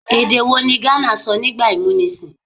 Èdè̀ wo ni ghana sọ nígbà ìmúnisìn?